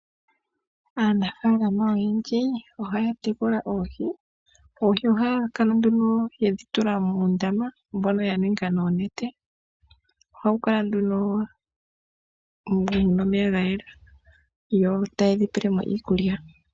Aanafalama oyendji ohaya tekula oohi. Oohi ohaya kala nduno yedhi tula moondama mbono ya ninga noonete ohawu kala nduno mu na omeya ga yela yo taye dhi pele mo iikulya.